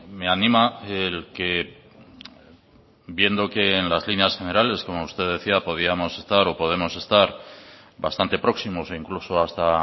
me anima el que viendo que en las líneas generales como usted decía podíamos estar o podemos estar bastante próximos o incluso hasta